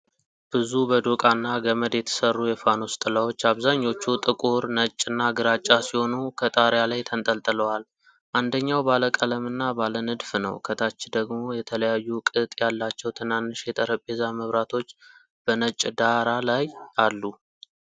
ብዙ በዶቃ እና ገመድ የተሠሩ የፋኖስ ጥላዎች፣ አብዛኛዎቹ ጥቁር፣ ነጭ እና ግራጫ ሲሆኑ፣ ከጣሪያ ላይ ተንጠልጥለዋል። አንደኛው ባለ ቀለም እና ባለ ንድፍ ነው። ከታች ደግሞ የተለያዩ ቅጥ ያላቸው ትናንሽ የጠረጴዛ መብራቶች በነጭ ዳራ ላይ አሉ።